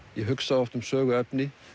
ég hugsa oft um söguefni